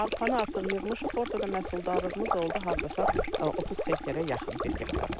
Arpanı artıq yığmışıq, orda da məhsuldarlığımız oldu hardasa 30 sentrə yaxın bir hektardan.